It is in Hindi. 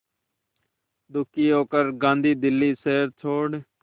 दुखी होकर गांधी दिल्ली शहर छोड़